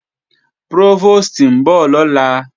Prófòstì ń bọ̀ lọ́la